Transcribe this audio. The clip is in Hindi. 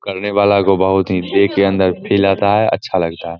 करने वाला को बहुत ही देकर अंदर फील आता है अच्छा लगता है ।